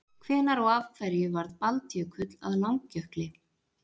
Hvenær og af hverju varð Baldjökull að Langjökli?